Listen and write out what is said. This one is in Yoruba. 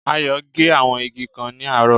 Ayò gé àwọn igi kan ní àárò